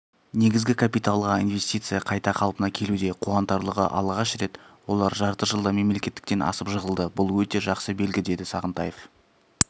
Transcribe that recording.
негізгі капиталға инвестиция қайта қалпына келуде қуанатарлығы алғаш рет олар жарты жылда мемлекеттіктен асып жығылды бұл өте жақсы белгі деді сағынтаев